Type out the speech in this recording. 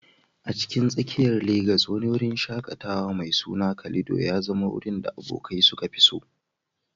A cikin tsakiyar Legas, wani wurin shaƙatawa mai suna Calido ya zama wurin da abokai suka fi so.